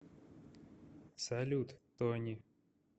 салют тони